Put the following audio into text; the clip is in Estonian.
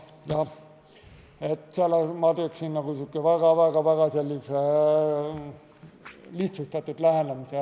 Ma kasutaksin sellist väga-väga lihtsustatud lähenemist.